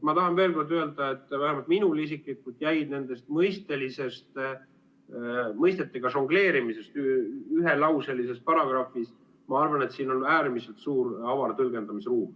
Ma tahan veel kord öelda, et vähemalt minul isiklikult jäi sellest mõistetega žongleerimisest ühelauselises paragrahvis, et siin on äärmiselt suur ja avar tõlgendamisruum.